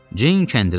Ceyn kəndiri açdı.